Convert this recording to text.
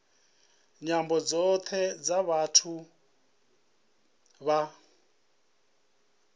nyambo dzothe dza vhathu vha